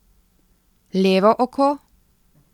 Levo oko?